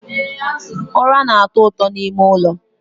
Ụra na-atọ ụtọ n'ime ụlọ